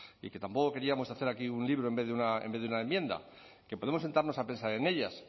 y que tampoco queríamos hacer aquí un libro en vez de una enmienda que podemos sentarnos a pensar en ellas